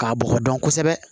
K'a bɔgɔ dɔn kosɛbɛ